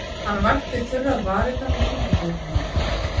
Hann vætti þurrar varirnar með tungubroddinum.